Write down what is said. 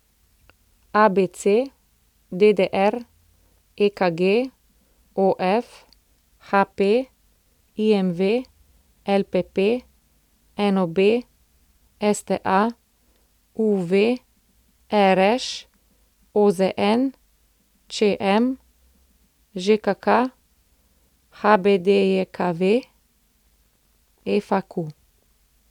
ABC, DDR, EKG, OF, HP, IMV, LPP, NOB, STA, UV, RŠ, OZN, ČM, ŽKK, HBDJKV, FAQ.